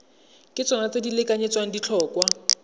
ke tsona di lekanyetsang ditlhotlhwa